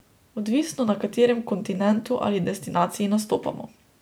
Odvisno na katerem kontinentu ali destinaciji nastopamo.